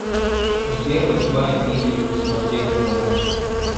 сбер восьмая милли смотреть онлайн